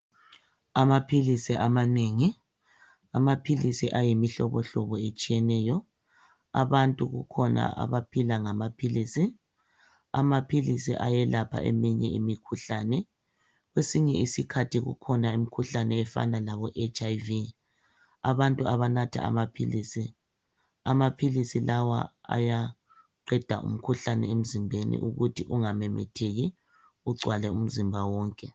Amaphilisi amanengi amaphilisi ayimihlobo hlobo etshiyeneyo abantu kukhona abaphila ngamaphilisi amaphilisi ayelapha eminye imikhuhlane kwesinye isikhathi kukhona imikhuhlane efana nabo HlV abantu abanatha amaphilisi amaphilisi lawa ayaqeda umkhuhlane emzimbeni ukuthi ungamemetheki ugcwale umzimba wonke